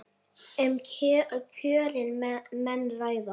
Um kjörin menn ræða.